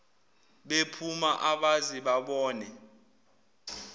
bephuma abaze babona